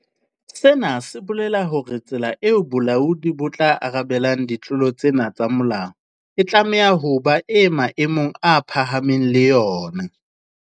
Sena se bolela hore tsela eo bolaodi bo tla arabelang ditlolo tsena tsa molao e tlameha ho ba e maemong a phahameng le yona.